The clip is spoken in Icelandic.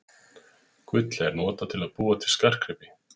Gull er notað til að búa til skartgripi.